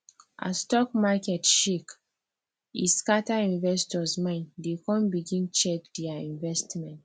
as stock market shake e scatter investors mind dey come begin check their investment